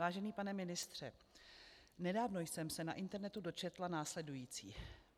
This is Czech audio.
Vážený pane ministře, nedávno jsem se na internetu dočetla následující.